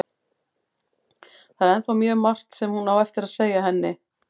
Það er ennþá mjög margt sem hún á eftir að segja henni.